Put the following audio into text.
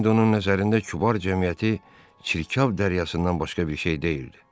İndi onun nəzərində kübar cəmiyyəti çirkab dəryasından başqa bir şey deyildi.